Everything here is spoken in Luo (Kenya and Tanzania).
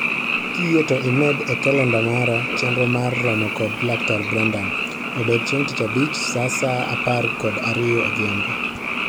Kiyie to imed e kalenda mara chenro mar romo kod laktar Branden, obed chieng' tich abich saa saa apar kod ariyo odhiambo